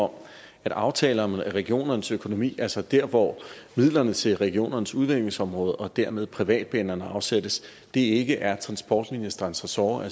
om at aftaler om regionernes økonomi altså der hvor midlerne til regionernes udviklingsområde og dermed privatbanerne afsættes ikke er transportministerens ressort